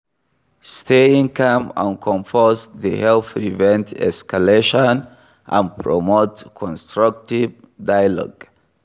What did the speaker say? Staying calm and composed dey help prevent escalation and promote constructive dialogue.